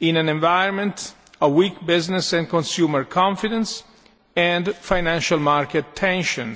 in an environment of weak business and consumer confidence and financial market tensions.